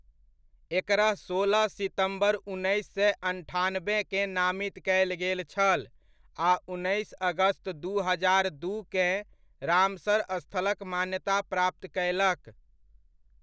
एकरा सोलह सितम्बर उन्नैस सए अन्ठानबेकेँ नामित कयल गेल छल आ उन्नैस अगस्त दू हजार दूकेँ, रामसर स्थलक मान्यता प्राप्त कयलक।